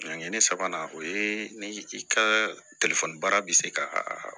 ne sabanan o ye ni i ka baara bɛ se ka